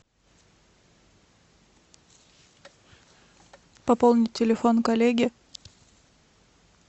пополнить телефон коллеги